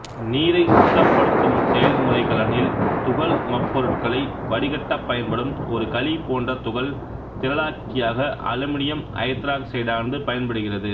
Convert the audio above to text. நீரைச் சுத்தப்படுத்தும் செயல்முறைக்கலனில் துகள்மப்பொருட்களை வடிகட்டப்பயன்படும் ஒரு களிபோன்ற துகள் திரளாக்கியாக அலுமினியம் ஐதராக்சைடானது பயன்படுகிறது